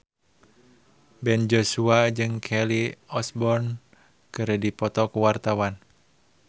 Ben Joshua jeung Kelly Osbourne keur dipoto ku wartawan